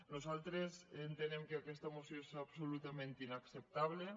nosaltres entenem que aquesta moció és absolutament inacceptable